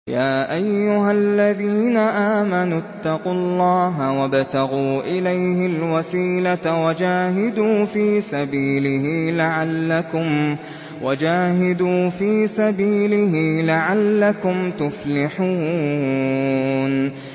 يَا أَيُّهَا الَّذِينَ آمَنُوا اتَّقُوا اللَّهَ وَابْتَغُوا إِلَيْهِ الْوَسِيلَةَ وَجَاهِدُوا فِي سَبِيلِهِ لَعَلَّكُمْ تُفْلِحُونَ